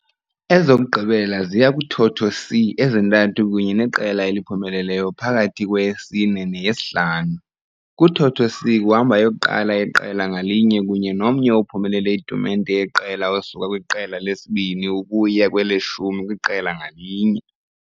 Ezokugqibela ziya kuthotho c ezintathu kunye neqela eliphumeleleyo phakathi kweyesine neyesihlanu. Kuthotho c kuhamba eyokuqala yeqela ngalinye kunye nomnye ophumelele itumente yeqela Osuka kwiqela lesibini ukuya kweleshumi kwiqela ngalinye.